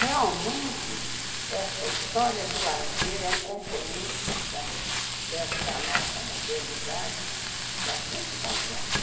Realmente, esta história do lazer é um componente da desta nossa modernidade bastante complexa.